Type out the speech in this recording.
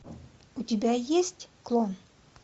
у тебя есть клон